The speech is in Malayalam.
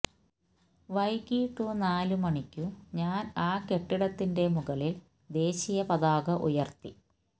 വൈകിട്ടു നാലുമണിക്കു ഞാന് ആ കെട്ടിടത്തിന്റെ മുകളില് ദേശീയ പതാക ഉയര്ത്തി